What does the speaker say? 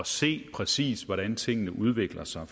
se præcist hvordan tingene udvikler sig